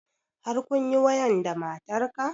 Har kunyi wayan da matar ka?